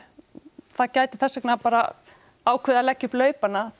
það gæti þess vegna bara ákveðið að leggja upp laupana til